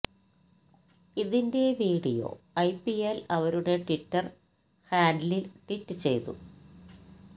ഇതിന്റെ video IPL അവരുടെ Twitter ഹാൻഡ്ലിൽ ട്വീറ്റ് ചെയ്തു